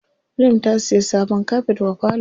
Maryam ta siya sabon kafet wa falo.